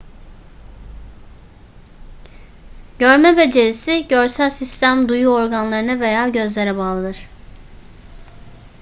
görme becerisi görsel sistem duyu organlarına veya gözlere bağlıdır